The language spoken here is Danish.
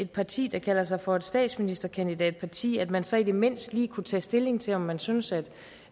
parti der kalder sig for et statsministerkandidatparti at man så i det mindste lige kunne tage stilling til om man synes at